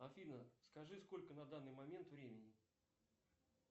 афина скажи сколько на данный момент времени